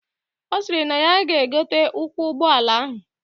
Osiri nay ya ga egote ụkwụ ugbọ ala ahụ